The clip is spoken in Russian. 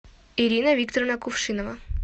ирина викторовна кувшинова